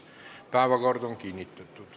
Päevakord on kinnitatud.